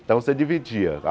Então, você dividia a.